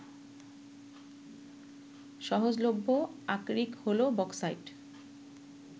সহজলভ্য আকরিক হলো বক্সাইট